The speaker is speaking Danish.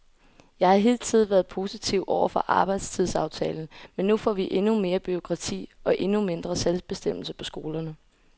Jeg har hidtil været positiv over for arbejdstidsaftalen, men nu får vi endnu mere bureaukrati og endnu mindre selvbestemmelse på skolerne.